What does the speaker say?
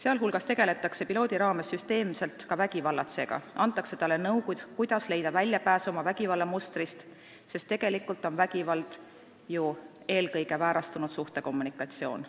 Muu hulgas tegeletakse pilootprojekti raames süsteemselt ka vägivallatsejaga, antakse talle nõu, kuidas leida väljapääs vägivallamustrist, sest tegelikult on vägivald ju eelkõige väärastunud suhtekommunikatsioon.